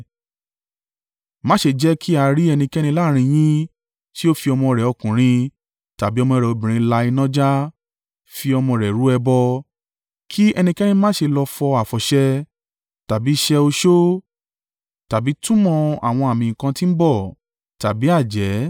Má ṣe jẹ́ kí a rí ẹnikẹ́ni láàrín yín tí ó fi ọmọ rẹ̀ ọkùnrin tàbí ọmọ rẹ̀ obìnrin la iná já (fi ọmọ rẹ rú ẹbọ) kí ẹnikẹ́ni má ṣe lọ fọ àfọ̀ṣẹ, tàbí ṣẹ́ oṣó, tàbí túmọ̀ àwọn àmì nǹkan tí ń bọ̀, tàbí àjẹ́,